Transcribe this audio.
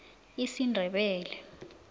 isindebele